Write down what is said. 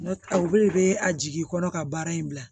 N'o tɛ o bɛɛ de bɛ a jigi kɔnɔ ka baara in bila